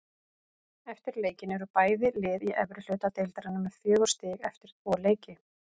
Eftir leikinn eru bæði lið í efri hluta deildarinnar með fjögur stig eftir tvo leiki.